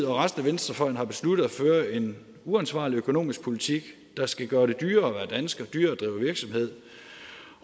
og resten af venstrefløjen har besluttet at føre en uansvarlig økonomisk politik der skal gøre det dyrere at være dansker og dyrere at drive virksomhed